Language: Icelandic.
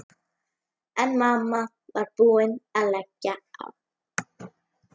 Þig langar kannski í einhvern af okkur, ha?